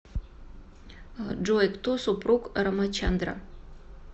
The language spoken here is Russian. джой кто супруг рамачандра